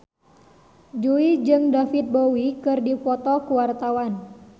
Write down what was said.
Jui jeung David Bowie keur dipoto ku wartawan